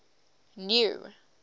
new